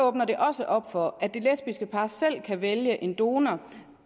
åbner det også op for at det lesbiske par selv kan vælge en donor